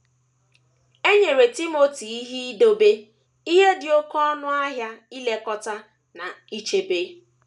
E nyere Timoti ihe idebe ihe dị oké ọnụ ahịa ilekọta na ichebe.